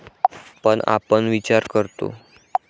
पण आपण विचार करतो.